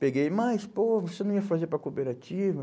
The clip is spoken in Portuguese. Peguei, mas, pô, você não ia fazer para a cooperativa?